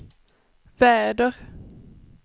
väder